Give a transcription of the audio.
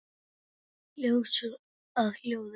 Ljós að hljóði?